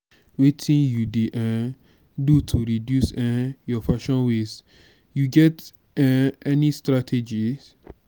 wetin you dey um do to reduce um your fashion waste you get um any strategies?